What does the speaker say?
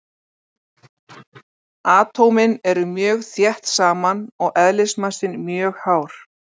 Atómin eru mjög þétt saman og eðlismassinn mjög hár.